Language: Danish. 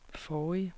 forrige